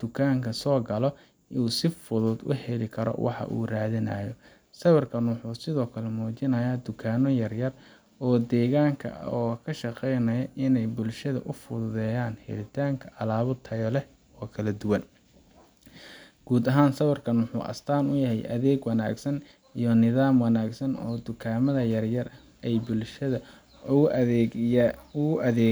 dukaanka soo galo uu si fudud u helo waxa uu raadinayo. Sawirkan wuxuu sidoo kale muujinayaa dukaanno yar yar oo deegaanka ah oo ka shaqeynaya inay bulshada u fududeeyaan helitaanka alaab tayo leh oo kala duwan. Guud ahaan, sawirkaan wuxuu astaan u yahay adeeg wanaagsan iyo nidaam wanaagsan oo dukaamada yaryar ay bulshada ugu adeegaan,